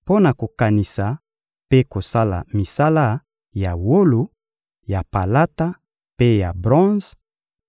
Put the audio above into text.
mpo na kokanisa mpe kosala misala ya wolo, ya palata mpe ya bronze;